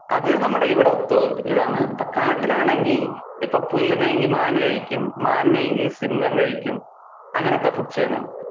അത് ഇവിടത്തെ ഒരു ഇതാണ്. ഇപ്പൊ കാട്ടിൽ ആണെങ്കിൽ ഇപ്പൊ പുല്ലിനെങ്കി മാൻ കഴിക്കും മാനിനെങ്കി സിംഹം കഴിക്കും അങ്ങനത്തെ food chain ആണ്.